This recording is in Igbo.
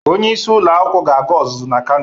Onyeisi ụlọ akwụkwụ ga-aga ụzụzụ na Kano.